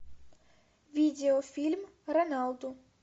видеофильм роналду